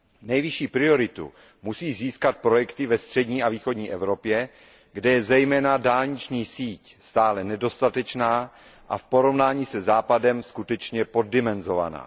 Nejvyšší prioritu musí získat projekty ve střední a východní Evropě, kde je zejména dálniční síť stále nedostatečná a v porovnání se Západem skutečně poddimenzovaná.